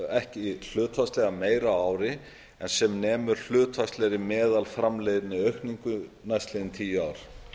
ekki hlutfallslega meira á ári en sem nemur hlutfallslegri meðalframleiðniaukningu næstliðin tíu ár